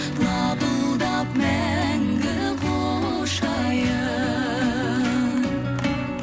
лапылдап мәңгі құшайын